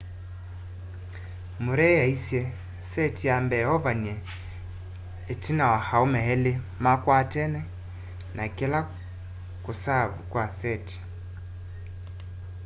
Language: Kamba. murray aaisye seti ya mbee ovanie tina wa aume eli makwatene na kila kusaavu kwa seti